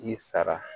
I sara